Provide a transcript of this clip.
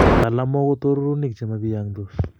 talamook ko torurunik chemobiyongsot